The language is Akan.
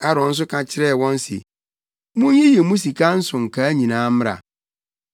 Aaron nso ka kyerɛɛ wɔn se, “Munyiyi mo sika nsonkaa nyinaa mmra.”